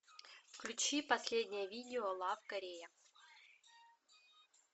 включи последнее видео лав корея